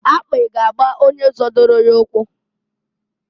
Akpị ga-agba onye zodoro ya ukwu,.